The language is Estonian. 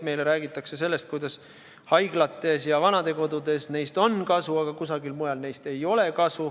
Meile räägitakse sellest, kuidas haiglates ja vanadekodudes on neist kasu, aga kusagil mujal neist kasu ei ole.